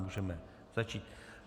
Můžeme začít.